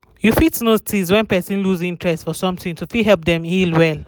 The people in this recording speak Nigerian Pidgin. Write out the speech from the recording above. you fit notice wen wen person loose interest for something to fit help dem heal well